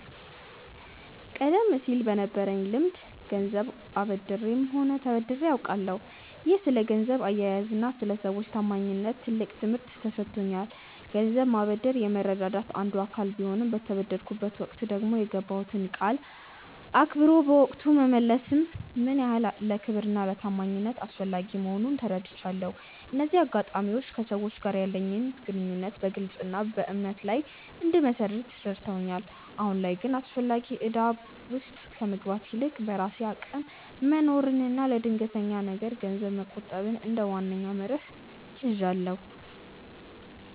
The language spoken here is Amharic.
ቀደም ሲል በነበረኝ ልምድ ገንዘብ አበድሬም ሆነ ተበድሬ አውቃለሁ፤ ይህም ስለ ገንዘብ አያያዝና ስለ ሰዎች ታማኝነት ትልቅ ትምህርት ሰጥቶኛል። ገንዘብ ማበደር የመረዳዳት አንዱ አካል ቢሆንም፣ በተበደርኩበት ወቅት ደግሞ የገባሁትን ቃል አክብሮ በወቅቱ መመለስ ምን ያህል ለክብርና ለታማኝነት አስፈላጊ መሆኑን ተረድቻለሁ። እነዚህ አጋጣሚዎች ከሰዎች ጋር ያለኝን ግንኙነት በግልጽነትና በእምነት ላይ እንድመሰርት ረድተውኛል። አሁን ላይ ግን አላስፈላጊ እዳ ውስጥ ከመግባት ይልቅ፣ በራሴ አቅም መኖርንና ለድንገተኛ ነገር ገንዘብ መቆጠብን እንደ ዋነኛ መርህ ይዣለሁ።